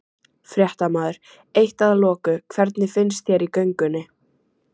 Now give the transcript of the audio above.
Fréttamaður: Eitt að loku, hvernig fannst þér í göngunni?